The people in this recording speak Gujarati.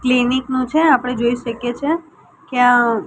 ક્લિનિક નુ છે આપડે જોઈ શકીએ છે કે આ--